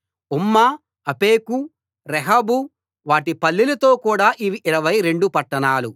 ఉమ్మా Aphek Rehob వాటి పల్లెలతో కూడ అవి యిరవై రెండు పట్టణాలు